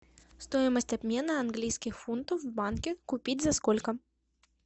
стоимость обмена английских фунтов в банке купить за сколько